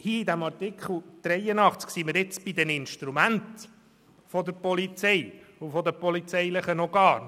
Hier bei Artikel 83 sind wir nun bei den Instrumenten der Polizei und der polizeilichen Organe.